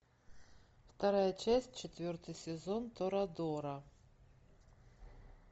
вторая часть четвертый сезон торадора